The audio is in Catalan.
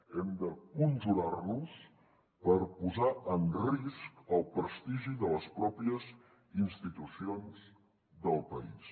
hem de conjurar nos per no posar en risc el prestigi de les pròpies institucions del país